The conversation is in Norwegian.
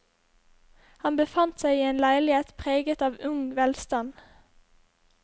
Han befant seg i en leilighet preget av ung velstand.